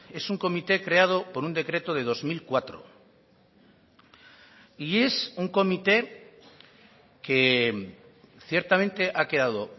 es un comité creado por un decreto de dos mil cuatro y es un comité que ciertamente ha quedado